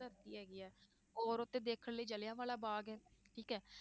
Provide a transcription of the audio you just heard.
ਧਰਤੀ ਹੈਗੀ ਹੈ, ਔਰ ਉੱਥੇ ਦੇਖਣ ਲਈ ਜ਼ਿਲਿਆਂ ਵਾਲਾ ਬਾਗ਼ ਹੈ ਠੀਕ ਹੈ।